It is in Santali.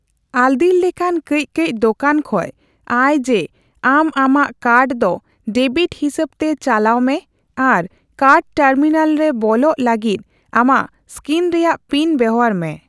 ᱟᱞᱫᱤᱨ ᱞᱮᱠᱟᱱ ᱠᱟᱹᱪᱼᱠᱟᱹᱪ ᱫᱳᱠᱟᱱ ᱠᱷᱚᱡ ᱟᱭ ᱡᱮ ᱟᱢ ᱟᱢᱟᱜ ᱠᱟᱨᱰ ᱫᱚ ᱰᱮᱵᱤᱴ ᱦᱤᱥᱟᱹᱵᱛᱮ ᱪᱟᱞᱟᱣ ᱢᱮ ᱟᱨ ᱠᱟᱨᱰ ᱴᱟᱨᱢᱤᱱᱟᱞ ᱨᱮ ᱵᱚᱞᱚᱜ ᱞᱟᱹᱜᱤᱫ ᱟᱢᱟᱜ ᱤᱥᱠᱤᱱ ᱨᱮᱭᱟᱜ ᱯᱤᱱ ᱵᱮᱣᱦᱟᱨ ᱢᱮ ᱾